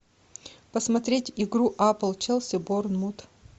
посмотреть игру апл челси борнмут